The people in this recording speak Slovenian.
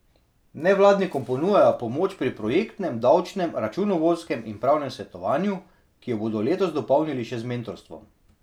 Nevladnikom ponujajo pomoč pri projektnem, davčnem, računovodskem in pravnem svetovanju, ki jo bodo letos dopolnili še z mentorstvom.